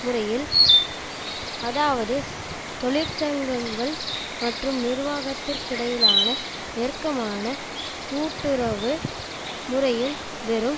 முறையில் அதாவது தொழிற்சங்கங்கள் மற்றும் நிர்வாகத்திற்கிடையிலான நெருக்கமான கூட்டுறவு முறையில் வெறும்